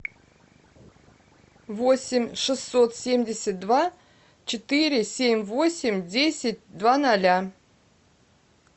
восемь шестьсот семьдесят два четыре семь восемь десять два ноля